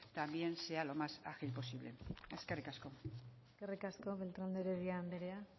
también sea lo más ágil posible eskerrik asko eskerrik asko beltrán de heredia anderea